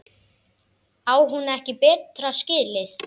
Á hún ekki betra skilið?